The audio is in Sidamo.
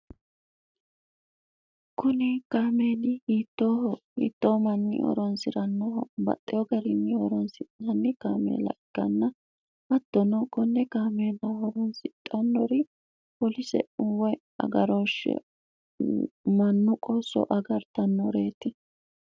kuni kaameeli hittoohohiittoo manni horonsi'rannoho baxxeyo garinni horonsinanni kaameela ikkanna hattono konne kaameela horonsixannori holise'uwoy agaroshshe mannu qoossoo agartannoreeti